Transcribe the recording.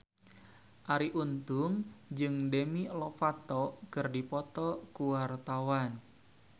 Arie Untung jeung Demi Lovato keur dipoto ku wartawan